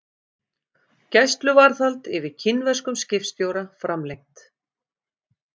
Gæsluvarðhald yfir kínverskum skipstjóra framlengt